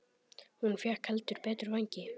Hún fékk heldur betur vængi.